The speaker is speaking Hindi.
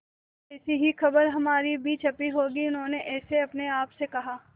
में ऐसी ही खबर हमारी भी छपी होगी उन्होंने जैसे अपने आप से कहा